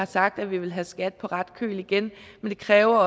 sagt at vi vil have skat på ret køl igen men det kræver